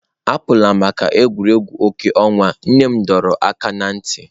Apụla maka egwuregwu ọkụ ọnwa, nne m dọrọ aka ná ntị.